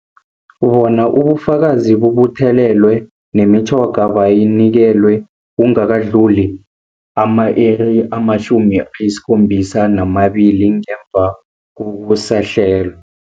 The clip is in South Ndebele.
Bona ubufakazi bubuthelelwe, nemitjhoga bayinikelwe kungakadluli ama-iri ama-72 ngemva kokusahlelwa.